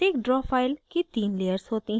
प्रत्येक draw file की तीन layers होती हैं